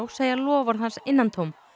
segja loforð hans innantóm